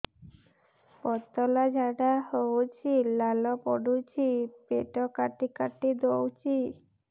ପତଳା ଝାଡା ହଉଛି ଲାଳ ପଡୁଛି ପେଟ କାଟି କାଟି ଦଉଚି